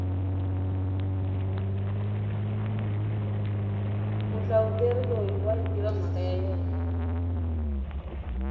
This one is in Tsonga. muhlavuteri loyi wayi tiva mhaka ya yena